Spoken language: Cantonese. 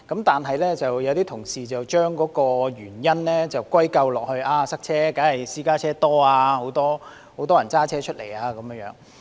但是，有些同事將塞車的原因歸咎於私家車數目多、很多人駕車出行。